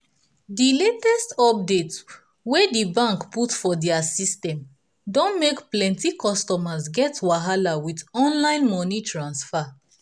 di latest update wey di bank put for dia system don make plenti customers get wahala with online moni transfer.